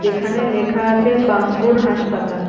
যেখানে লেখা আছে বাঙ্গুর হাসপাতাল।